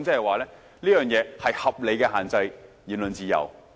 換言之，這是合理地限制言論自由。